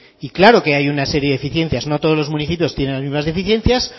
y claro que hay una serie de deficiencias no todos los municipios tienen las mismas deficiencias